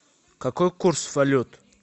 какой курс валют